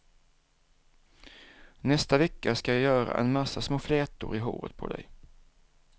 Nästa vecka ska jag göra en massa små flätor i håret på dig.